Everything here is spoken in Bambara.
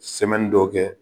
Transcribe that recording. Sɛmaine dɔw kɛ.